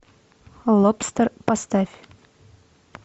лобстер поставь